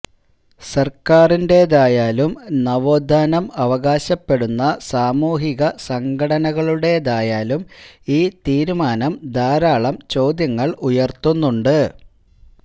സർക്കാരിന്റേതായാലും നവോത്ഥാനം അവകാശപ്പെടുന്ന സാമൂഹിക സംഘടനകളുടേതായാലും ഈ തീരുമാനം ധാരാളം ചോദ്യങ്ങൾ ഉയർത്തുന്നുണ്ട്